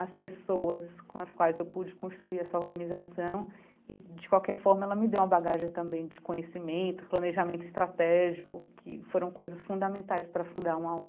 as pessoas com as quais eu pude construir essa organização e, de qualquer forma, ela me deu uma bagagem também de conhecimento, planejamento estratégico, que foram coisas fundamentais para fundar uma